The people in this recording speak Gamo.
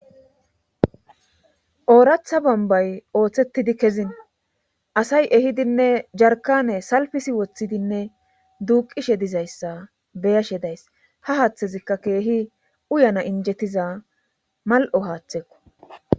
Ooratha bambay ooththettidi kezin asay ehidinne jarkane salfisi woththidinne duuqishe dizayssa beyashe days ha haaththezikka keehi uyana injettiza mal"o haaththekko